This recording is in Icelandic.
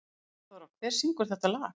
Friðþóra, hver syngur þetta lag?